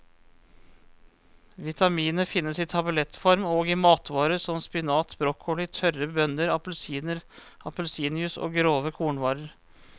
Vitaminet finnes i tablettform og i matvarer som spinat, broccoli, tørre bønner, appelsiner, appelsinjuice og grove kornvarer.